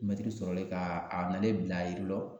Mɛtiri sɔrɔlen ka a nalen bila a yiri lɔ